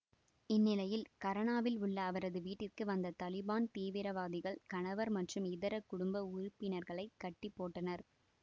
இந்நிலையில் கரானாவில் உள்ள அவரது வீட்டிற்கு வந்த தலிபான் தீவிரவாதிகள் கணவர் மற்றும் இதர குடும்ப உறுப்பினர்களை கட்டி போட்டனர்